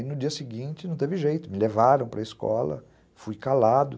E no dia seguinte não teve jeito, me levaram para a escola, fui calado.